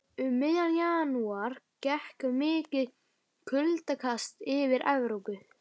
Um miðjan janúar gekk mikið kuldakast yfir Evrópu.